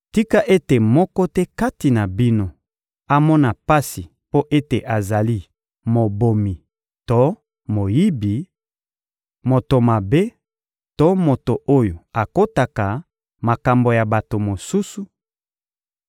Tika ete moko te kati na bino amona pasi mpo ete azali mobomi to moyibi, moto mabe to moto oyo akotaka makambo ya bato mosusu;